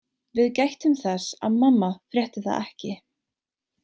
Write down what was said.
Við gættum þess að mamma frétti það ekki.